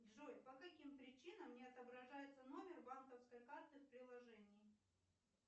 джой по каким причинам не отображается номер банковской карты в приложении